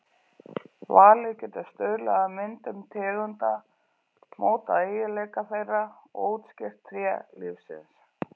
Valið getur stuðlað að myndun tegunda, mótað eiginleika þeirra og útskýrt tré lífsins.